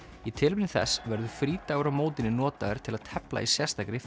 í tilefni þess verður frídagur á mótinu notaður til að tefla í sérstakri